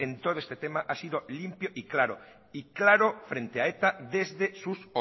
todo este tema ha sido limpio y claro y claro frente a eta desde sus